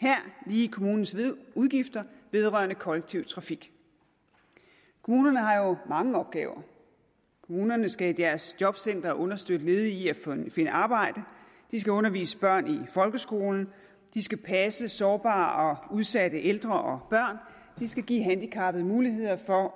her lige kommunens udgifter vedrørende kollektiv trafik kommunerne har jo mange opgaver kommunerne skal i deres jobcentre understøtte ledige i at finde arbejde de skal undervise børn i folkeskolen de skal passe sårbare og udsatte ældre og børn de skal give handicappede muligheder for